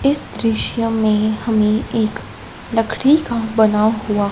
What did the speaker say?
इस दृश्य में हमे एक लकड़ी का बना हुआ--